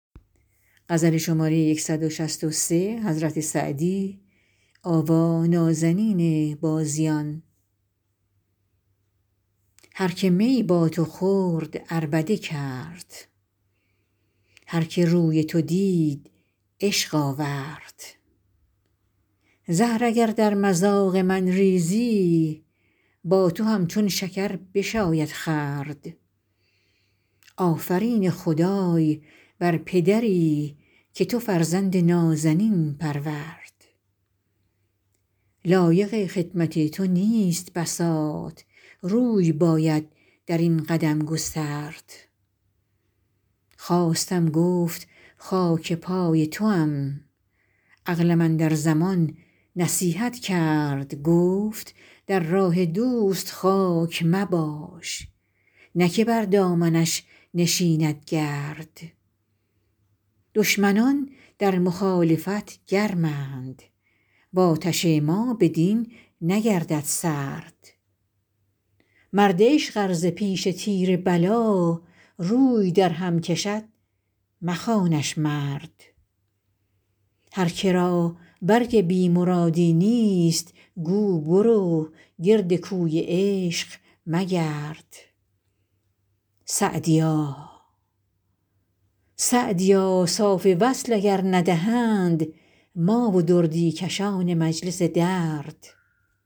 هر که می با تو خورد عربده کرد هر که روی تو دید عشق آورد زهر اگر در مذاق من ریزی با تو همچون شکر بشاید خورد آفرین خدای بر پدری که تو فرزند نازنین پرورد لایق خدمت تو نیست بساط روی باید در این قدم گسترد خواستم گفت خاک پای توام عقلم اندر زمان نصیحت کرد گفت در راه دوست خاک مباش نه که بر دامنش نشیند گرد دشمنان در مخالفت گرمند و آتش ما بدین نگردد سرد مرد عشق ار ز پیش تیر بلا روی درهم کشد مخوانش مرد هر که را برگ بی مرادی نیست گو برو گرد کوی عشق مگرد سعدیا صاف وصل اگر ندهند ما و دردی کشان مجلس درد